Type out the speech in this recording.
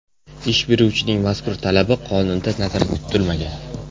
Ish beruvchining mazkur talabi qonunda nazarda tutilmagan.